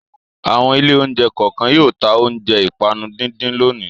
Àwọn ilé-oúnjẹ kọ̀ọ̀kan yóò ta oúnjẹ ìpanu díndín lónìí.